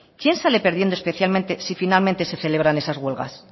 quién sale perdiendo especialmente si finalmente se celebran esas huelgas